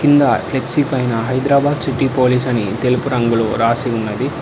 కింద ఫ్లెక్సీ పైన Hyderabad city police అని తెలుపు రంగులు రాసి ఉన్నది.